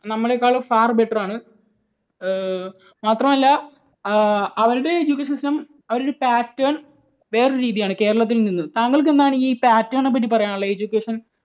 നമ്മളെക്കാൾ far better ആണ്. മാത്രമല്ല ഏർ അവരുടെ education system അവരുടെ pattern വേറൊരു രീതിയാണ് കേരളത്തിൽ നിന്നും. താങ്കൾക്ക് എന്താണ് ഈ pattern നെപ്പറ്റി പറയാനുള്ളത്? education